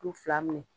K'u fila minɛ